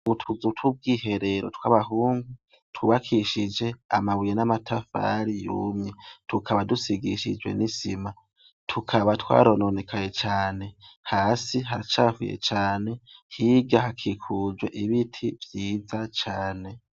Ubutuzu tw' ubwiherero tw'abahungu tubakishije amabuye n'amatafari yumye tukaba dusigishijwe n'isima tukaba twarononekaye cane hasi haracavuye cane higa hakikujwe ibiti vyiza cane.